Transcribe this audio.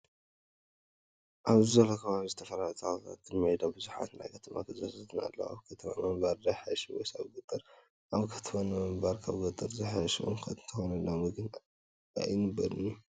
ኣብዚ ዘሎ ከባቢ ብዝተፈላለዩ ተክልታትን ኣብ ሜዳ ድማ ብዙሓት ናይ ከተማ ገዛታትን ኣለው። ኣብ ከተማ ምንባር ዶ ይሓይሽ ወይስ ኣብ ገጠር ኣብ ከተማ ምንባር ካብ ኣብ ገጠር ዝሐሸ እኳ እንተኮነ ሎሚ ግን ኣይነበር እዩ።